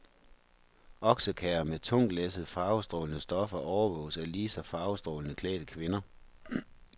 Oksekærrer med tungtlæssede farvestrålende stoffer overvåges af lige så farvestrålende klædte kvinder.